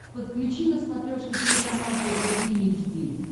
подключи на смотрешке телеканал тв три эйч ди